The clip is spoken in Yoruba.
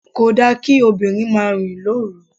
Kò da kí obìnrin máa rìn lóru.